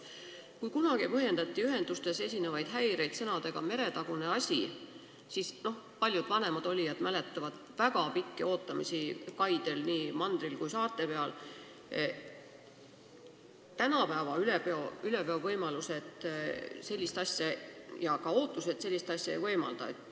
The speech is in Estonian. Kui kunagi põhjendati ühendustes esinevaid häireid sõnadega "meretagune asi" – paljud vanemad olijad mäletavad väga pikki ootamisi kaidel, nii mandril kui ka saarte peal –, siis tänapäeva üleveo tase ja ka inimeste ootused sellist asja ei võimalda.